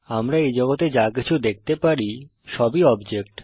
আমরা এই জগতে যা কিছু দেখতে পারি সবই অবজেক্ট